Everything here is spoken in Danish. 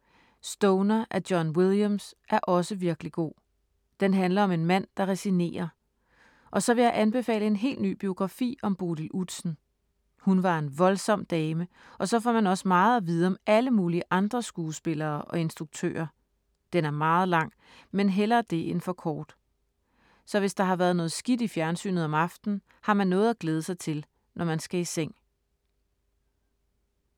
Stoner af John Williams er også virkelig god. Den handler om en mand, der resignerer. Og så vil jeg anbefale en helt ny biografi om Bodil Udsen. Hun var en voldsom dame og så får man også meget at vide om alle mulige andre skuespillere og instruktører. Den er meget lang, men hellere det end for kort. Så hvis der har været noget skidt i fjernsynet om aftenen, har man noget at glæde sig til, når man skal i seng.